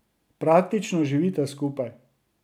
Praktično živita skupaj.